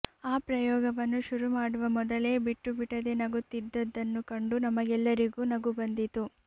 ಆ ಪ್ರಯೊಗವನ್ನು ಶುರು ಮಡುವಮೊದಲೆ ಬಿಟ್ಟು ಬಿಡದೆ ನಗುತ್ತಿದ್ದದ್ದನ್ನುಕಂಡು ನಮಗೆಲ್ಲರಿಗೂ ನಗು ಬಂದಿತು